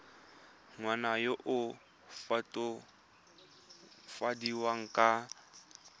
ngwana yo o latofadiwang ka